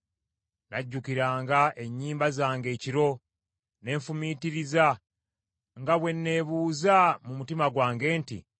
Najjukiranga ennyimba zange ekiro, ne nfumiitiriza nga bwe neebuuza mu mutima gwange nti: